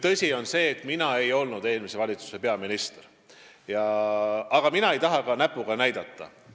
Tõsi on see, et mina ei olnud eelmise valitsuse peaminister, aga mina ei taha ka näpuga näidata.